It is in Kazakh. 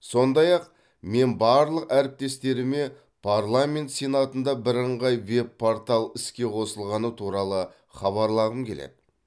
сондай ақ мен барлық әріптестеріме парламент сенатында бірыңғай веб портал іске қосылғаны туралы хабарлағым келеді